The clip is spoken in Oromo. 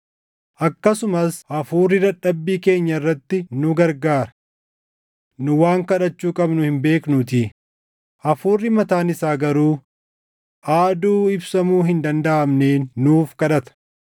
Akkasumas Hafuurri dadhabbii keenya irratti nu gargaara. Nu waan kadhachuu qabnu hin beeknuutii; hafuurri mataan isaa garuu aaduu ibsamuu hin dandaʼamneen nuuf kadhata.